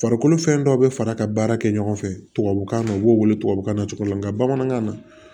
Farikolo fɛn dɔ be fara ka baara kɛ ɲɔgɔn fɛ tubabukan na u b'o wele tubabukan na cogo min na nga bamanankan na